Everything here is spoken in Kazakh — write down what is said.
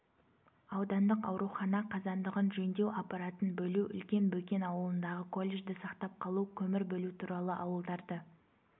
аудандық аурухана қазандығын жөндеу аппаратын бөлу үлкен бөкен ауылындағы колледжді сақтап қалу көмір бөлу туралы ауылдарды